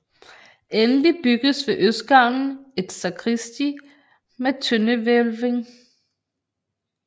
Endelig byggedes ved østgavlen et sakristi med tøndehvælving